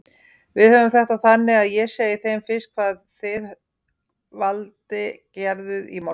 Við höfum þetta þannig að ég segi þeim fyrst hvað þið Valdi gerðuð í morgun.